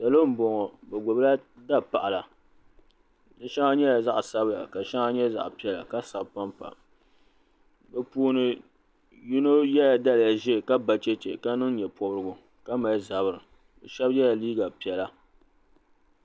Salo m-bɔŋɔ bɛ gbubila dapaɣila di shɛŋa nyɛla zaɣ'sabila ka shɛŋa nyɛ zaɣ'piɛla ka sabi pampa bɛ puuni yino yela daliya ʒee ka ba cheche ka niŋ nye'pɔbirigu ka mali zabiri shɛba yela liiga piɛla.